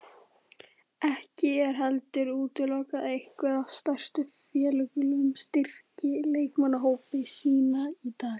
Ekki er heldur útilokað að einhver af stærstu félögunum styrki leikmannahópa sína í dag.